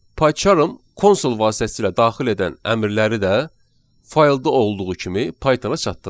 PyCharm konsol vasitəsilə daxil edən əmrləri də faylda olduğu kimi Pythona çatdırır.